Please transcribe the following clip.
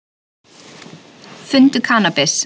Fundu kannabis